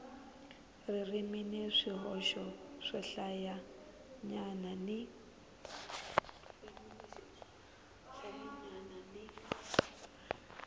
ririmi ni swihoxo swohlayanyana ni